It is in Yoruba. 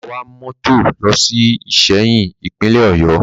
Bàbá wa mọ́tò lọ sí Ìsẹ́yìn, Ìpínlẹ̀ Ọ̀yọ́